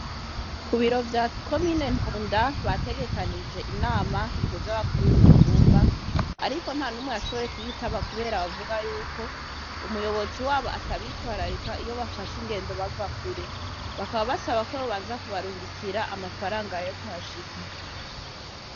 Ku biro vya ko mine ntunda bategekanije inama ihuze abakuru b'imitumba, ariko nta numwe yashoboye kuyitaba, kubera bavuga yuko umuyobozi wabo atabitwararika iyo bafashe ingendo bava kure bakaba basaba keo banza kubarungikira amafaranga y yo kuhashika.